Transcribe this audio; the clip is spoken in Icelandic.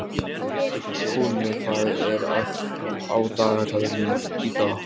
Húni, hvað er á dagatalinu í dag?